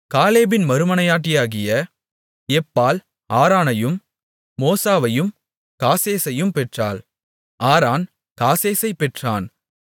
காலேபின் மறுமனையாட்டியாகிய எப்பாள் ஆரானையும் மோசாவையும் காசேசையும் பெற்றாள் ஆரான் காசேசைப் பெற்றான்